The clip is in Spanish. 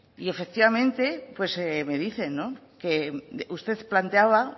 y efectivamente me dicen que usted planteaba